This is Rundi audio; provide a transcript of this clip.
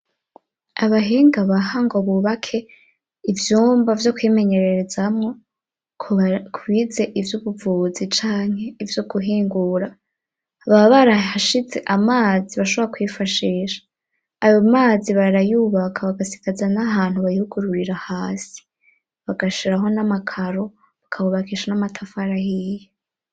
Abahinga baha ngo bubake ivyumba vyo kwimenyererezamwo kubigize ivy'ubuvuzi, canke ivyo guhingura aba barashize amazi bashobora kwifashisha ,ayoo mazi barayubaka bagasigaza n'ahantu bayugururira hasi ,bagashiraho n'amakaro bakahubakisha n'amatafa arayiye.